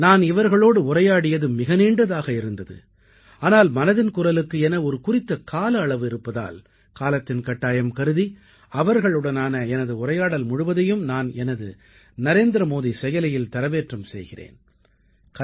நான் இவர்களோடு உரையாடியது மிக நீண்டதாக இருந்தது ஆனால் மனதின் குரலுக்கு என ஒரு குறித்த கால அளவு இருப்பதால் காலத்தின் கட்டாயம் கருதி அவர்களுடனான எனது உரையாடல் முழுவதையும் நான் எனது நரேந்திரமோடி செயலியில் தரவேற்றம் செய்கிறேன்